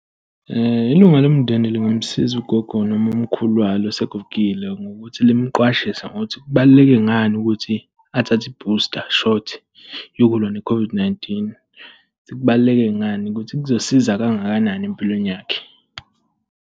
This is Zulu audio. Ilunga lomndeni lingamsiza ugogo noma umkhulu walo osegugile ngokuthi limqwashise ngokuthi kubaluleke ngani ukuthi athathe i-booster shot yokulwa ne-COVID-19. Kubaluleke ngani ukuthi kuzosiza kangakanani empilweni yakhe.